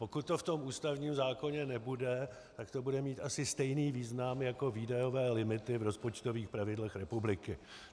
Pokud to v tom ústavním zákoně nebude, tak to bude mít asi stejný význam jako výdajové limity v rozpočtových pravidlech republiky.